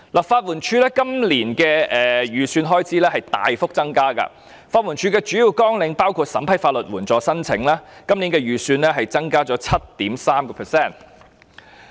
法律援助署今年的預算開支大幅增加，而法援署的主要綱領包括審批法律援助申請，今年相關預算增加 7.3%。